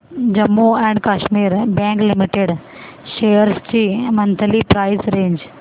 Jammu and Kashmir bank limited shares ची monthly price range